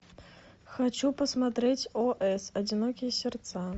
хочу посмотреть ос одинокие сердца